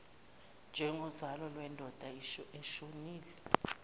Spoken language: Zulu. njengozalo lwendoda eshonile